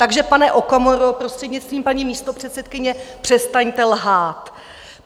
Takže, pane Okamuro, prostřednictvím paní místopředsedkyně, přestaňte lhát.